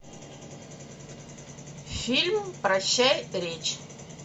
фильм прощай речь